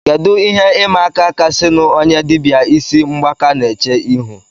Kedu ihe ịma aka kasịnụ onye dibịa ịsị mgbaka na-eche ihu